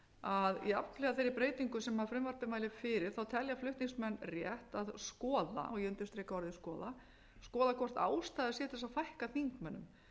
að jafnhliða þeirri breytingu sem frumvarpið mælir fyrir telja flutningsmenn rétt að skoða ég undirstrika orðið skoða skoða hvort ástæða sé til að fækka þingmönnum